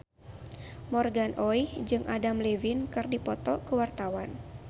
Morgan Oey jeung Adam Levine keur dipoto ku wartawan